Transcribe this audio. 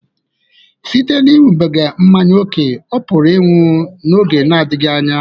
Site n'ịṅụbiga mmanya ókè, ọ pụrụ ịnwụ n'oge na-adịghị anya